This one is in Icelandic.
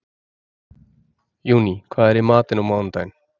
Júní, hvað er í matinn á mánudaginn?